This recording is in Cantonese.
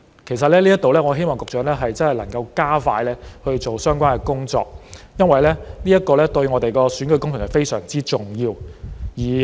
其實就這方面，我希望局長真的能夠加快相關的工作，因為這對我們的選舉工程非常重要。